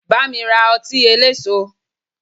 Bámi ra ọtí eléso!